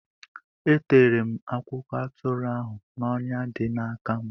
E tere m akwụkwọ atụrụ ahụ n’ọnya dị n’aka m.